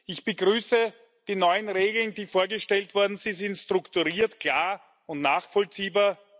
Ich begrüße die neuen Regeln, die vorgestellt worden sind Sie sind strukturiert, klar und nachvollziehbar.